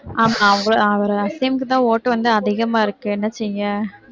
அவரு அசீமுக்குதான் ஓட்டு வந்து அதிகமா இருக்கு என்ன செய்ய